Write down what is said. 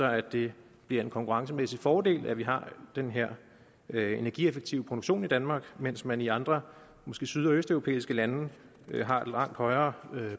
at det bliver en konkurrencemæssig fordel at vi har den her her energieffektive produktion i danmark mens man i andre måske syd og østeuropæiske lande har langt højere